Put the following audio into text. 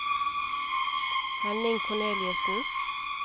Henning Korneliussen